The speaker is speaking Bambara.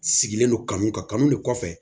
Sigilen don kan min kanu de kɔfɛ